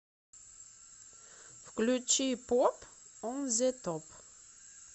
включи поп он зе топ